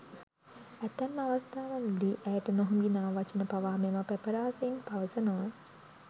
ඇතැම් අවස්ථා වලදී ඇයට නොහොඹිනා වචන පවා මෙම පැපරාසීන් පවසනවා.